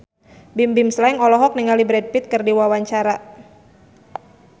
Bimbim Slank olohok ningali Brad Pitt keur diwawancara